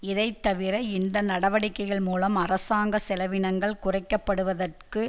இதைத்தவிர இந்த நடவடிக்கைகள் மூலம் அரசாங்க செலவினங்கள் குறைக்கப்படுவதற்கும்